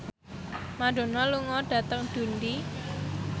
Madonna lunga dhateng Dundee